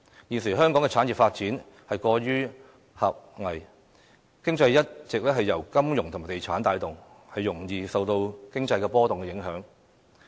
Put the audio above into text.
現時，香港的產業發展過於狹隘，經濟一直由金融業和地產業帶動，容易受經濟波動影響。